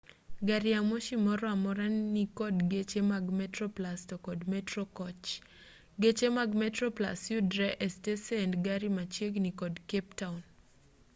gari ya moshi moro amora nikod geche mag metroplus to kod metro koch geche mag metroplus yudre e stesend gari machiegni kod cape town